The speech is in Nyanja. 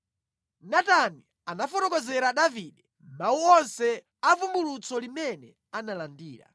Natani anafotokozera Davide mawu onse avumbulutso limene analandira.